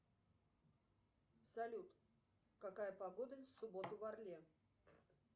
салют какая погода в субботу в орле